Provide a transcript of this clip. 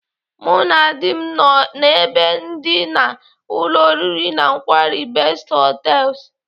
Mụ na dị m nọ n'ebe ndina ụlọ oriri na nkwari Best Hotels.